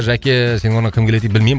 жәке сенің орныңа кім келеді дейді білмеймін